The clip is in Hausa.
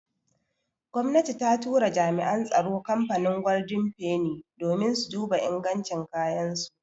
Gomnati ta tura jami'an tsaro kamfanin golden feni domin su duba ingancin kayan su.